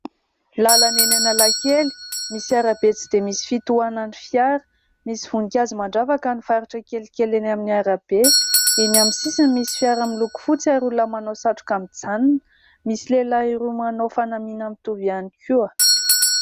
Lalana eny Analakely misy arabe tsy dia misy fitohanana fiara. Misy voninkazo mandravaka ny faritra kelikely eny amin'ny arabe. Eny amin'ny sisiny misy fiara miloko fotsy ary olona manao satroka mijanona. Misy lehilahy roa manao fanamiana mitovy ihany koa.